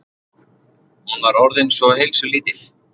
Hún var orðin svo heilsulítil.